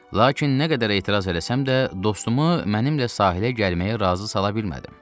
Lakin nə qədər etiraz eləsəm də, dostumu mənimlə sahilə gəlməyə razı sala bilmədim.